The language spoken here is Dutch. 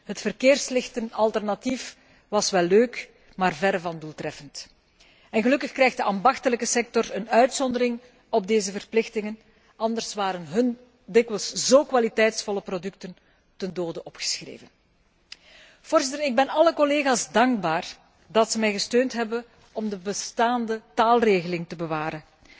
Het verkeerslichtenalternatief was wel leuk, maar verre van doeltreffend. Gelukkig krijgt de ambachtelijke sector een uitzondering op deze verplichtingen, anders waren hun dikwijls zo kwaliteitsvolle producten ten dode opgeschreven. Ik ben alle collega's dankbaar dat ze mij gesteund hebben om de bestaande taalregeling te bewaren.